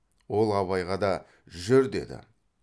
ол абайға да жүр деді